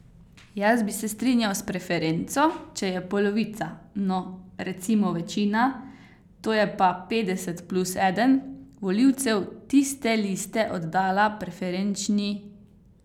Jaz bi se strinjal s preferenco, če je polovica, no, recimo večina, to je pa petdeset plus eden, volivcev tiste liste oddala preferenčni glas.